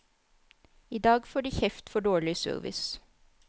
I dag får de kjeft for dårlig service.